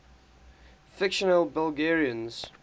fictional belgians